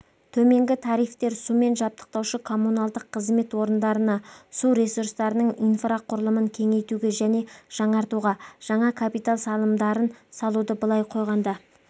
төменгі тарифтер сумен жабдықтаушы коммуналдық қызмет орындарына су ресурстарының инфрақұрылымын кеңейтуге және жаңартуға жаңа капитал салымдарын салуды былай қойғанда